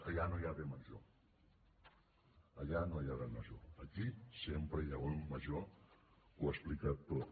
allà no hi ha bé major allà no hi ha bé major aquí sempre hi ha un bé major que ho explica tot